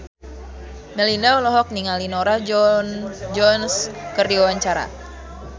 Melinda olohok ningali Norah Jones keur diwawancara